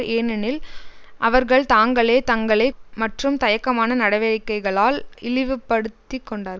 ஏனெனில் அவர்கள் தாங்களே தங்களை மற்றும் தயக்கமான நடவடிக்கைகளால் இழிவுபடுத்திக் கொண்டார்